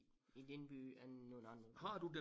I den by end nogle andre byer